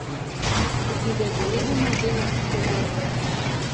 E kindego, yedhe mag geng'o kute dwarore ahinya.